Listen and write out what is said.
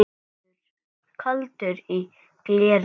Kaldur í gleri